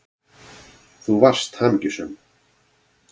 Þú varst hamingjusöm.